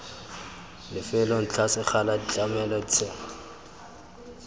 lefelo ntlha sekgala ditlamelo ditheo